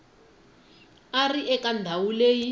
va ri eka ndhawu leyi